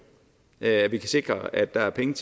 at vi kan sikre at der er penge